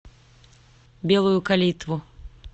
белую калитву